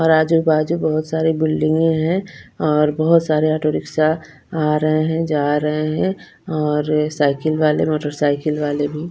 और आजू-बाजू बहोत सारी बिल्डिंगे हैं और बहोत सारे ऑटो रिक्शा आ रहे हैं जा रहे हैं और साइकिल वाले मोटर साइकिल वाले भी --